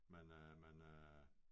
Men øh men øh